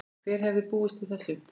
Hver hefði búist við þessu?